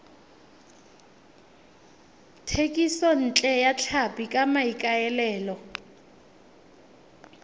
thekisontle ya tlhapi ka maikaelelo